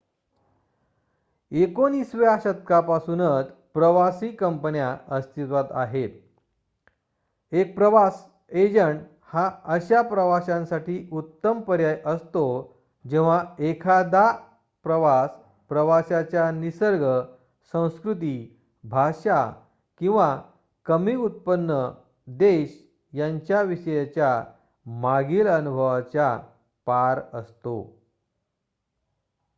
19 व्या शतकापासूनच प्रवासी कंपन्या अस्तित्वात आहेत एक प्रवास एजंट हा अशा प्रवाशांसाठी उत्तम पर्याय असतो जेव्हा एखादा प्रवास प्रवाशाच्या निसर्ग संस्कृती भाषा किंवा कमी उत्पन्न देश यांच्या विषयीच्या मागील अनुभवाच्या पार असतो